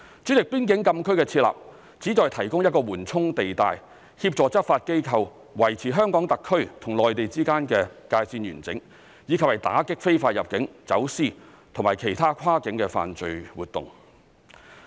主席，邊境禁區的設立旨在提供一個緩衝地帶，協助執法機構維持香港特區與內地之間的界線完整，以及打擊非法入境、走私及其他跨境的犯罪活動。